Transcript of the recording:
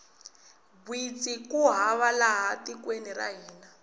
gwitsi ku hava laha tikweni ra hina